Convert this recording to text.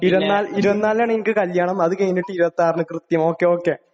24 നാണു എനിക്ക് കല്യാണം, അത് കഴിഞ്ഞിട്ട് 26 നു..കൃത്യം.ഓക്കേ ഓക്കേ.